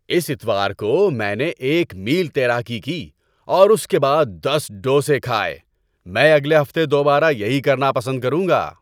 اس اتوار کو میں نے ایک میل تیراکی کی اور اس کے بعد دس ڈوسے کھائے۔ میں اگلے ہفتے دوبارہ یہی کرنا پسند کروں گا۔